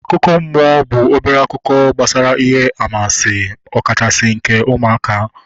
Akụkọ mmụọ bụ obere akụkọ gbasara ihe anwansi ọ kachasị nke ụmụaka